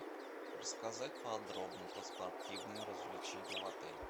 рассказать подробно про спортивные развлечения в отеле